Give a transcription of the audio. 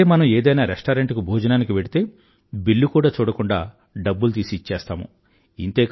అదే మనం ఏదైనా రెస్టారెంట్ కు భోజనానికి వెళ్తే బిల్లు కూడా చూడకుండా డబ్బులు తీసి ఇచ్చేస్తాము